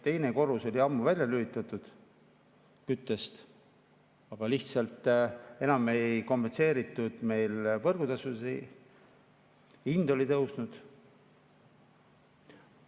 Teine korrus oli küttest ammu välja lülitatud, aga lihtsalt enam ei kompenseeritud võrgutasusid ja hind oli tõusnud.